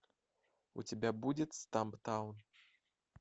у тебя будет стамптаун